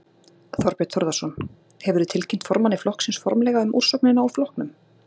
Þorbjörn Þórðarson: Hefurðu tilkynnt formanni flokksins formlega um úrsögnina úr flokknum?